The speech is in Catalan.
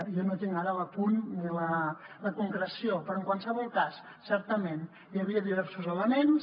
jo no tinc ara l’apunt ni la concreció però en qualsevol cas certament hi havia diversos elements